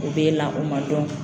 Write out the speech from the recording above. O bɛ e la, o ma dɔn.